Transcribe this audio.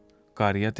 Qarıya dedilər.